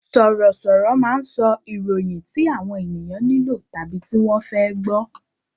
Sọ̀rọ̀ sọ̀rọ̀ máa ń sọ ìròyìn tí àwọn ènìyàn nílò tàbí tí wọ́n fẹ́ gbọ